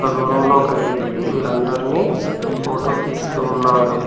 ఒక దూరంలో ఒక వ్యక్తి వీళ్ళందరినీ ఫోటో తీస్తూ ఉన్నాడు.